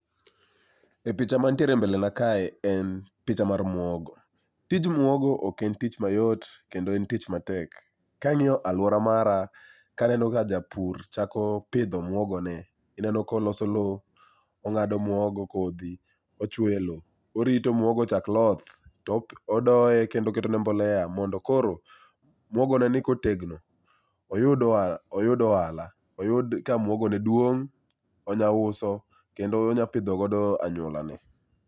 E picha mantiere e mbelena kae en picha mar mwogo. Tij mwogo ok en tich mayot kendo en tich matek. Kang'iyo alwora mara kaneno ka japur chako pidho omwogone, ineno koloso lo, ong'ado mwogo kodhi, ochwoyo e lo, orito mwogo chak loth to odoye kendo oketone mbolea mondo koro mwogoneni kotegno oyud ohala, oyud ka mwogone duong' onyauso kendo onyapidhogodo anyuolane.